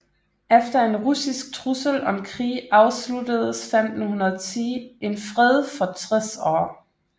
Efter en russisk trussel om krig afsluttedes 1510 en fred for 60 år